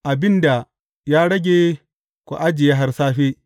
Abin da ya rage ku ajiye har safe.’